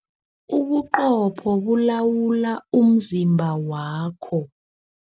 Ubuqopho bulawula umzimba wakho.